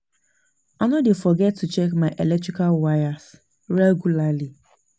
I no dey forget to check my electrical wires regularly.